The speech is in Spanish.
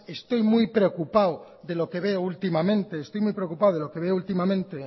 estoy muy preocupado de lo que veo últimamente